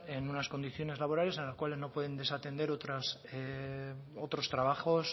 en unas condiciones laborales en las cuales no pueden desatender otros trabajos